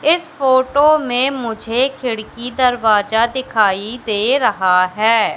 इस फोटो में मुझे खिड़की दरवाजा दिखाई दे रहा हैं।